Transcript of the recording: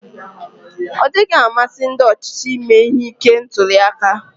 Ọdịghị amasị ndi ochịchị ime ihe ike ntuliaka.